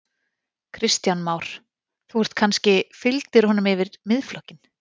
Kristján Már: Þú ert kannski, fylgdir honum yfir Miðflokkinn?